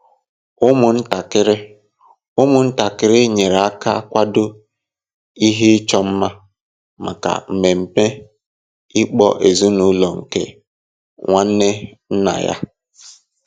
Ụmụntakịrị Ụmụntakịrị nyere aka kwado ihe ịchọ mma maka ememe ịkpọ ezinụlọ nke nwanne nna ha.